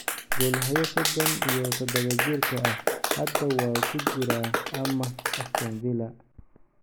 Goolhaye sodon iyo dadawa-jirka ah hadda waa ku jira amaah Aston Villa.